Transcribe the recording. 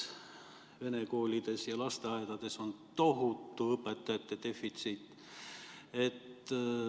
Vene koolides ja lasteaedades on tohutu õpetajate defitsiit.